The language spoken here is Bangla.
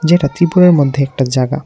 যেটা ত্রিপুরার মধ্যে একটা জাগা ।